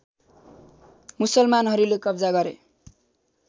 मुसलमानहरूले कब्जा गरे